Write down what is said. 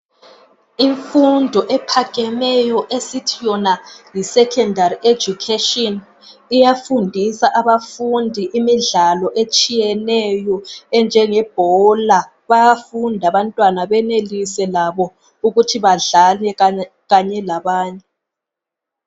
Imfundo ephakemeyo esithi yona yiSecondary Education iyafundisa abafundi imidlalo etshiyeneyo enjenge bhola. Bayafunda abantwana benelise labo ukuthi badlale kanye labanye.